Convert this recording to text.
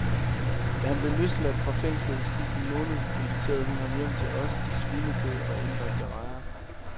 Da han blev løsladt fra fængslet i sidste måned, inviterede hun ham hjem til os til svinekød og indbagte rejer.